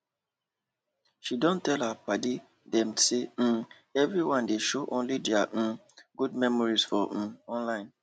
she don tell her padi dem say um everyone dey show only deir um good memories for um online